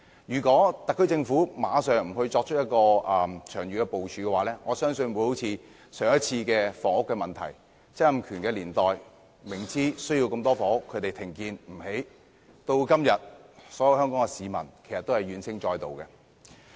如果特區政府不立即作出長遠部署，我相信曾蔭權年代的房屋問題將會重現，即明知需要大量房屋，但政府卻停建，以致香港市民今天怨聲載道。